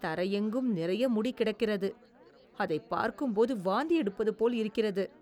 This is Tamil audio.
தரையெங்கும் நிறைய முடி கிடக்கிறது. அதைப் பார்க்கும்போது வாந்தி எடுப்பதுபோல் இருக்கிறது.